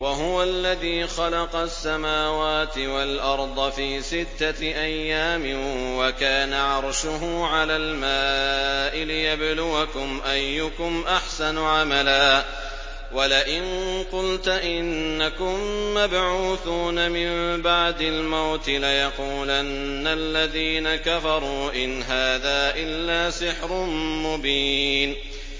وَهُوَ الَّذِي خَلَقَ السَّمَاوَاتِ وَالْأَرْضَ فِي سِتَّةِ أَيَّامٍ وَكَانَ عَرْشُهُ عَلَى الْمَاءِ لِيَبْلُوَكُمْ أَيُّكُمْ أَحْسَنُ عَمَلًا ۗ وَلَئِن قُلْتَ إِنَّكُم مَّبْعُوثُونَ مِن بَعْدِ الْمَوْتِ لَيَقُولَنَّ الَّذِينَ كَفَرُوا إِنْ هَٰذَا إِلَّا سِحْرٌ مُّبِينٌ